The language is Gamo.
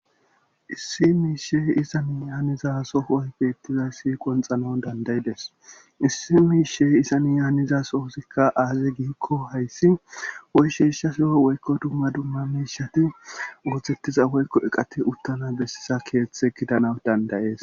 issi miishey isani yaaniza sofooy beettiza siqonxano dandayides issi miishey isani yaanizasohoosikka aaze giikko hayssi woy sheeshsha soo woykko dumma dumma miishati ooththettiza woykko eqati uttana bessisa keeththe gidanaw dandayees